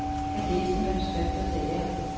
Han læste manuskriptet og sagde ja.